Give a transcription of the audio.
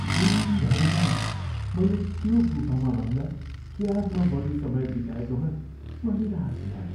दिनभरिमा मैले त्यो गुफामा भन्दा क्याबमा बढी समय बिताएकोमा म निराश भएँ।